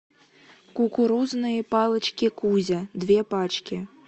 кукурузные палочки кузя две пачки